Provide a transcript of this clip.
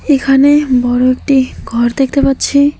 এখানে বড় একটি ঘর দেখতে পাচ্ছি।